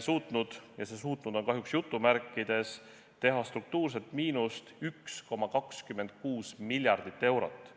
suutnud – ja see "suutnud" on kahjuks jutumärkides – teha struktuurset miinust 1,26 miljardit eurot.